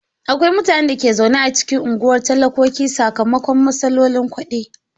Akwai mutanen da ke zaune a cikin unguwar talakoki sakamakon matsalolin kudi.